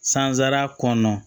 Sansara kɔnɔna na